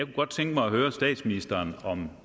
godt tænke mig høre statsministeren om